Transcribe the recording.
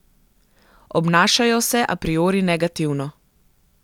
Obnašajo se a priori negativno.